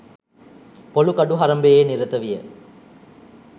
පොලූ කඩු හරඹයේ නිරත විය